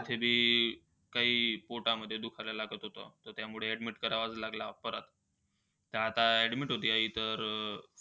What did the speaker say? तर काही पोटामध्ये दुखायला लागत होतं. तर त्यामुळे admit करावा लागलं परत. तर आता admit होती आई तर,